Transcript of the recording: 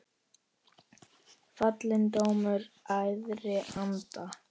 Fallinn dómur æðri anda.